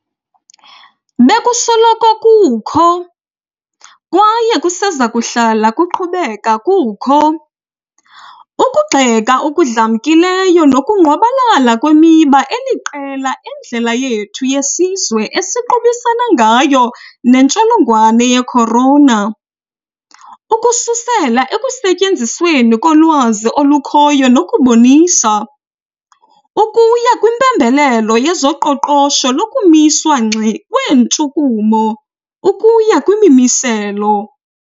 Bekusoloko kukho, kwaye kusezakuhlala kuqhubeka kukho, ukugxeka okudlamkileyo nokungqwabalala kwemiba eliqela endlela yethu yesizwe esiqubisana ngayo nentsholongwane ye-corona, ukususela ekusetyenzisweni kolwazi olukhoyo nokubonisa, ukuya kwimpembelelo yezoqoqosho lokumiswa ngxi kweentshukumo, ukuya kwimimiselo.